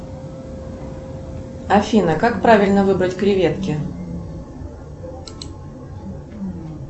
афина как правильно выбрать креветки